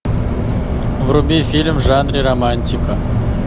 вруби фильм в жанре романтика